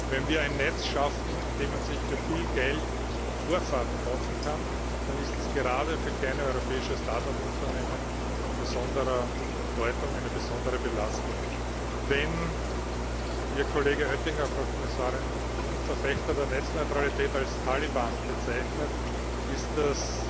Wenn wir ein Netz schaffen, in dem man sich für viel Geld Vorfahrt kaufen kann, dann ist das gerade für kleine europäische Start up Unternehmen von besonderer Bedeutung, eine besondere Belastung. Wenn Ihr Kollege Oettinger, Frau Kommissarin, nun Verfechter der Netzneutralität als Taliban bezeichnet, ist